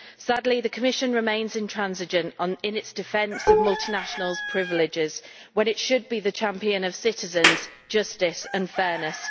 Sadly, the Commission remains intransigent in its defence of multinationals' privileges when it should be the champion of citizens, justice and fairness.